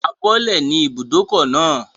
A bọ́lẹ̀ ní ibùdókọ̀ náà